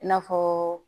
I n'a fɔ